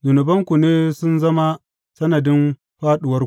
Zunubanku ne sun zama sanadin fāɗuwarku!